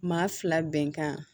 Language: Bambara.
Maa fila bɛnkan